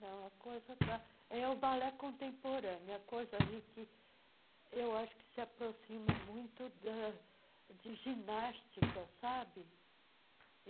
Não, a coisa está... É o balé contemporâneo, é coisa aí que eu acho que se aproxima muito da de ginástica, sabe?